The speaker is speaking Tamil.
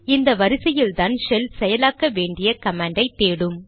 இந்த வரிசையில்தான் ஷெல் செயலாக்க வேண்டிய கமாண்டை தேடும்